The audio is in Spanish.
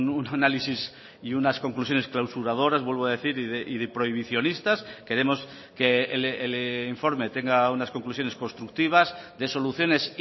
un análisis y unas conclusiones clausuradoras vuelvo a decir y de prohibicionistas queremos que el informe tenga unas conclusiones constructivas de soluciones